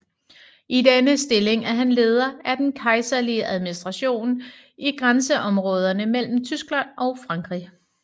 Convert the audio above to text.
I denne stilling er han leder af den kejserlige administration i grænseområderne mellem Tyskland og Frankrig